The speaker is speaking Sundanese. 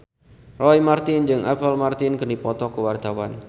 Roy Marten jeung Apple Martin keur dipoto ku wartawan